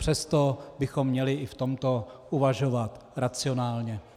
Přesto bychom měli i v tomto uvažovat racionálně.